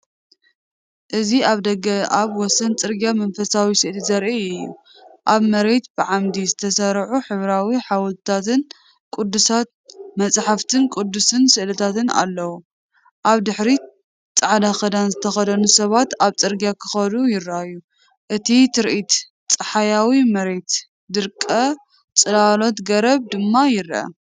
እዚ ኣብ ደገ ኣብ ወሰን ጽርግያ መንፈሳዊ ስእሊ ዘርኢ እዩ። ኣብ መሬት ብዓምዲ ዝተሰርዑ ሕብራዊ ሓወልትታት ቅዱሳንን መጽሓፍ ቅዱሳዊ ስእልታትን ኣለዉ። ኣብ ድሕሪት ጻዕዳ ክዳን ዝተኸድኑ ሰባት ኣብ ጽርግያ ክኸዱ ይረኣዩ። እቲ ትርኢት ጸሓያዊ፡መሬት ደረቕ፡ጽላሎት ገረብ ድማ ይርአ።